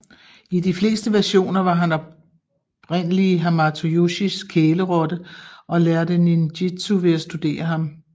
I de fleste versioner var han oprindelige Hamato Yoshis kælerotte og lærte ninjitsu ved at studere ham